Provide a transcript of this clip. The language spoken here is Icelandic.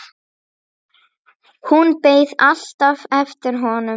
Hún beið alltaf eftir honum.